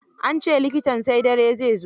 An ce likitan sai dare zai zo.